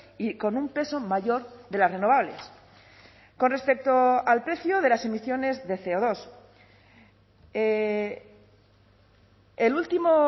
y con un peso mayor de las renovables con respecto al precio de las emisiones de ce o dos el último